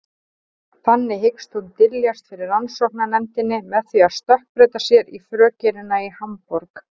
Þannig hyggst hún dyljast fyrir rannsóknarnefndinni með því að stökkbreyta sér í frökenina í Hamborg.